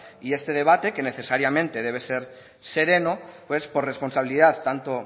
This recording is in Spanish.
y este debate que necesariamente debe ser sereno pues por responsabilidad tanto